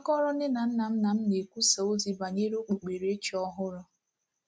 A kọọrọ nne na nna m na m na-ekwusa ozi banyere okpukperechi ọhụrụ.